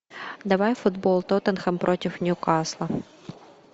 давай футбол тоттенхэм против ньюкасла